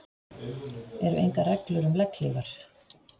Eru engar reglur um legghlífar?